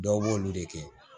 Dɔw b'olu de kɛ